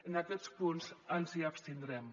en aquests punts ens hi abstindrem